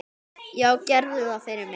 Já, gerðu það fyrir mig!